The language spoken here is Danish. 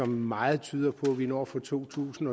meget tyder på vi når for to tusind